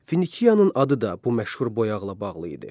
Finikiyanın adı da bu məşhur boyaqla bağlı idi.